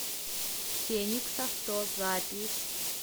феникс авто запись